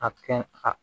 A kɛ a